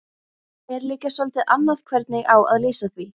En líka soldið annað hvernig á að lýsa því